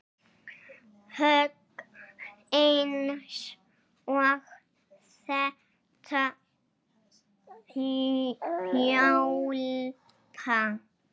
Högg eins og þetta hjálpa